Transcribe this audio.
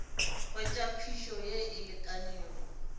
hwetša phišo ye e lekanego